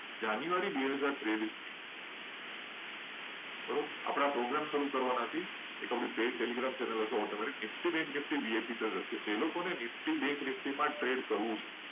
જાન્યુઆરી બે હજાર ત્રેવીસ છે આપણે એક program start કરવાના છે. જેમાં telegram page પર bank nifty માં એડ કરવાનો શીખવાડવામાં આવશે.